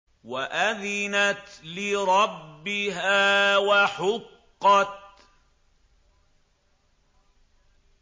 وَأَذِنَتْ لِرَبِّهَا وَحُقَّتْ